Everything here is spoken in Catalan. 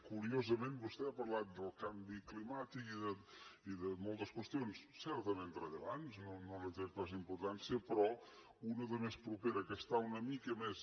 curiosament vostè ha parlat del canvi climàtic i de moltes qüestions certament rellevants no li’n trec pas importància però una de més propera que està una mica més